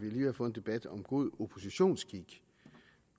ved at få en debat om god oppositionsskik